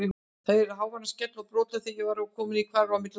Ég heyrði háværan skell og brothljóð þegar ég var kominn í hvarf á milli húsa.